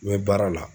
N bɛ baara la